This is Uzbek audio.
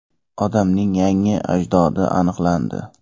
Odamning yangi ajdodi aniqlandi.